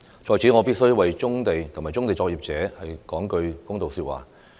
在此，我必須為棕地及棕地作業者說句公道說話。